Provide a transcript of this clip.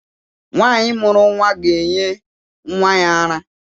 Nwaanyi mụrụ nwa gá-enye nwa ya ara.